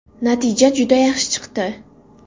Natija juda yaxshi chiqdi.